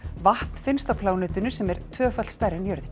vatn finnst á plánetunni sem er tvöfalt stærri en jörðin